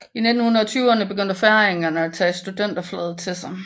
I 1920erne begyndte færingerne at tage studenterflaget til sig